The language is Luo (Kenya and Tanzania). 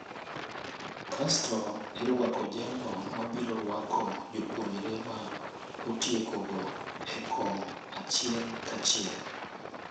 Kasto irwako jalo mabirorwako jopuonjre ma otieko go eko achiel ka achiel.